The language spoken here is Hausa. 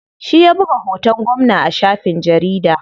Shi ya buga hoton gwamna a shafin jarida.